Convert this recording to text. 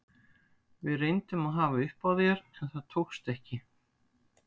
Við reyndum að hafa upp á þér en það tókst ekki.